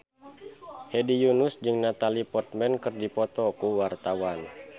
Hedi Yunus jeung Natalie Portman keur dipoto ku wartawan